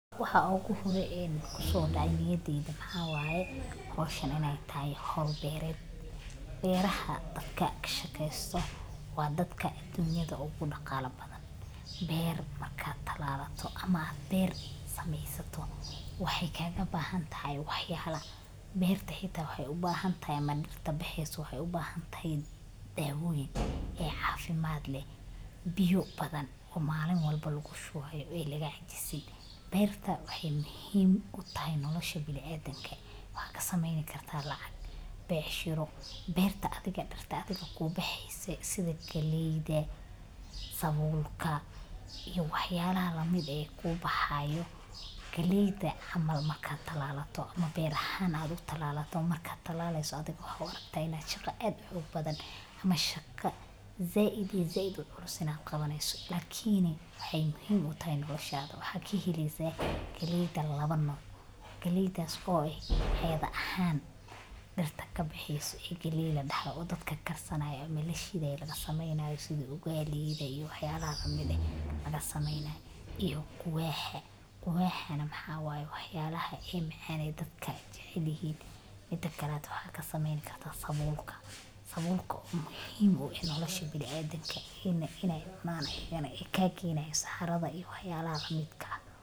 Waxa oogu hore oo kusoo dacay niyadeeda waxaa waye howshan inaay tahay howl beered, beeraha dadka kashaqeesto waa dadka aduunyada ugu daqala badan, beer marka aad sameysato waxaay kaaga bahan tahay wax yaala, beerta xitaa waxeey ubahan tahay dawoyin cafimaad leh, biya badan oo malin walba lagu shubaayo oo laga cajisin, beerta waxeey muhiim utahay nolosha biniadamka, waxaa lasameyni kartaa lacag, becshira, beerta sida galeeyda sabuulka iyo wax yaabha lamidka ah galeyda camal marka ad talalato markaad talaleyso waxaad u aragta inaay thay shaqa aad culus, lakin waxaad kaheleysa galeyda laba nooc, iyado ahaan ama dadka karsan to oo lashidayo lasameynayo sida ugali, iyo quwaaxa waxaa waye wax yaabaha macan aay dadka jecel yihiin waxaa kasmaeyni kartaa sabuulka oo kaa keenayo saxarada.